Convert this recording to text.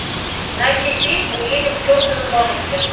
найди фильм уедем к чертовой бабушке